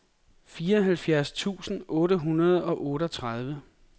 fireoghalvfjerds tusind otte hundrede og otteogtredive